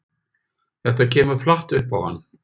Þetta kemur flatt upp á hann.